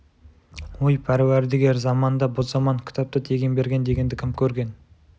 ой пәруәрдігер заман да бұ заман кітапты тегін берген дегенді кім көрген